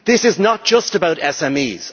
This is not just about SMEs.